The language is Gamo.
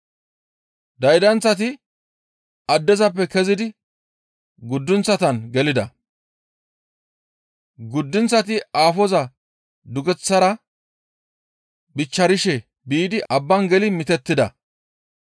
Daydanththati addezappe kezidi guddunththatan gelida. Guddunththati aafoza dugunththaara bichcharishe biidi abbaan geli mitettida.